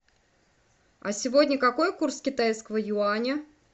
а сегодня какой курс китайского юаня